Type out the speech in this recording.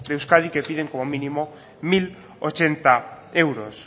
de euskadi que piden como mínimo mil ochenta euros